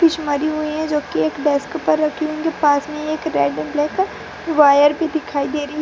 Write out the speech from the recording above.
जो की एक डेस्क पर रखी होगी पास में एक रेड एंड ब्लैक वायर भी दिखाई दे री --